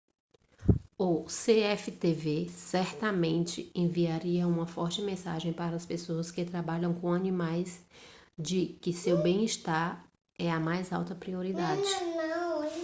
o cftv certamente enviaria uma forte mensagem para as pessoas que trabalham com animais de que seu bem-estar é a mais alta prioridade